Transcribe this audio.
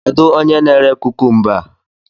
Kedu onye na-ere kukumba a?